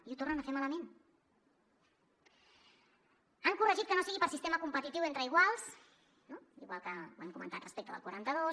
i ho tornen a fer malament han corregit que no sigui per sistema competitiu entre iguals no igual que ho hem comentat respecte del quaranta dos